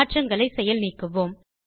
மாற்றங்களை செயல் நீக்குவோம்